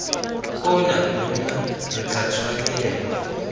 ona monna re tla tshwanelwa